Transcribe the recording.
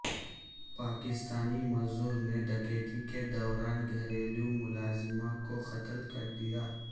پاکستانی مزدور نے ڈکیتی کے دوران گھریلو ملازمہ کو قتل کر دیا